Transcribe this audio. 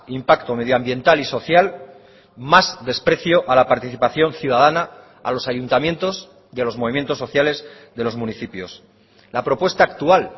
impacto medioambiental y social más desprecio a la participación ciudadana a los ayuntamientos y a los movimientos sociales de los municipios la propuesta actual